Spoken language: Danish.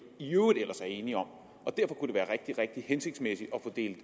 i øvrigt ellers er enige om det kunne være rigtig rigtig hensigtsmæssigt at få delt